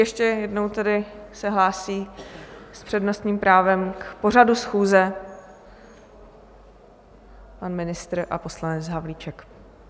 Ještě jednou tedy se hlásí s přednostním právem k pořadu schůze pan ministr a poslanec Havlíček.